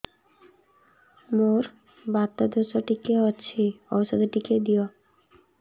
ମୋର୍ ବାତ ଦୋଷ ଟିକେ ଅଛି ଔଷଧ ଟିକେ ଦିଅ